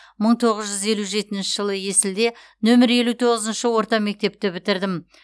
мың тоғыз жүз елу жетінші жылы есілде нөмір елу тоғызыншы орта мектепті бітірдім